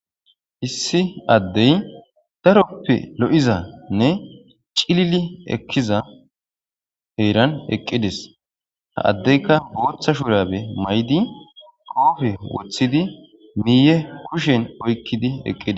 issi addey daroppe lo7izanne cilili ekkiza heeran eqqides ha addeyka booththa shurabe may7di qoofe woththidi miiye kushen oykkidi eqqide